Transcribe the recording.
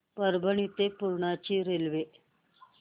परभणी ते पूर्णा ची रेल्वे